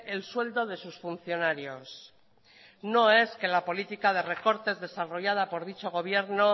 el sueldo de sus funcionarios no es que la política de recortes desarrollada por dicho gobierno